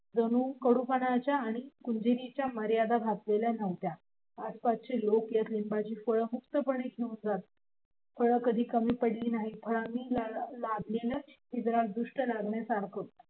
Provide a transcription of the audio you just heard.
जणू कडुपणाच्या आणि कंजूसपणाच्या मर्यादा घातलेल्या नव्हत्या आसपासचे लोक येत लिंबाची फळ मुक्तपणे घेऊन जात फळ कधी कमी पडली नाहीत फळांनी लागलेलं ते झाड दृष्ट लागण्यासारखं